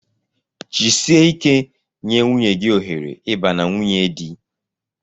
Jisie ike nye nwunye gị ohere ịba na nwunye di!